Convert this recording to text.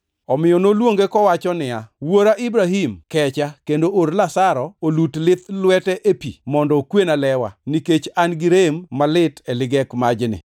Omiyo noluonge kowacho niya, ‘Wuora Ibrahim kecha kendo or Lazaro olut lith lwete e pi mondo okwena lewa, nikech an-gi rem malit e ligek majni.’